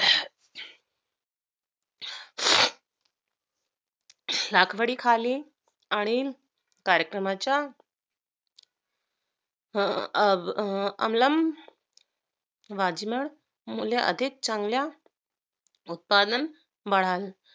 रखवडीखाली अनिल कार्यक्रमाचा अवलंब वाजल्यामुळे अधिक चांगल्या उत्पादन बनाल